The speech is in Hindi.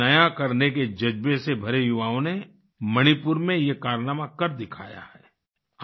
कुछ नया करने के जज़्बे से भरे युवाओं ने मणिपुर में ये कारनामा कर दिखाया है